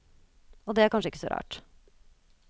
Og det er kanskje ikke så rart.